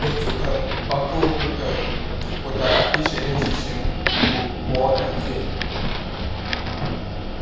Otu um ọkà okwu um pụtara ìche n’echiche m bụ Walter J.